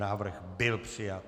Návrh byl přijat.